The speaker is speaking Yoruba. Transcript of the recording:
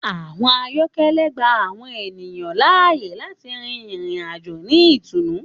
Àwọn ayọkẹlẹ gbà àwọn ènìyàn laáyè láti rìn ìrìn-àjò ni itùnù.